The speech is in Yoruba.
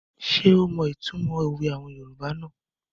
Ṣé ó mọ ìtumọ̀ àwọn òwe yoòbá náà?